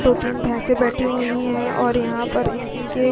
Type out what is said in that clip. दो तीन भैंसे बैठी हुई और यहाँ पर इनके --